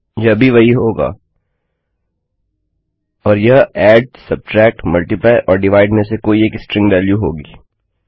यह भी वही होगा और यह add subtract multiply or divide में से कोई एक स्ट्रिंग वेल्यू होगी